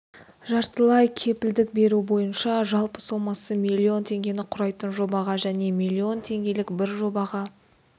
жартылай кепілдік беру бойынша жалпы сомасы миллион теңгені құрайтын жобаға және миллион теңгелік бір жобаға